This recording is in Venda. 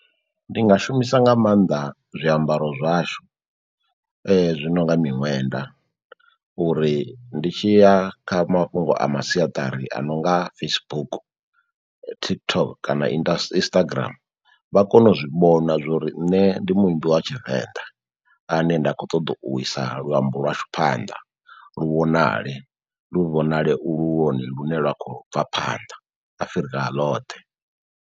Ndi nga shumisa nga mannḓa zwiambaro zwashu zwi nonga miṅwenda uri ndi tshi ya kha mafhungo a masiaṱari a nonga Facebook, TikTok kana indas Instagram vha kone u zwi vhona zwori nne ndi muimbi wa tshivenḓa ane nda khou ṱoḓa u isa luambo lwashu phanḓa, lu vhonale. Lu vhonale lune lwa khou bva phanḓa Afrika loṱhe.